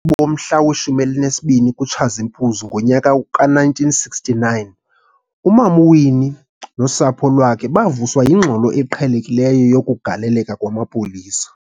bomhla we-12 kuTshazimpuzi ngonyaka ka-1969, uMam'Winnie nosapho lwakhe bavuswa yingxolo eqhelekileyo yokugaleleka kwamapolisa.